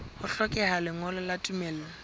ho hlokeha lengolo la tumello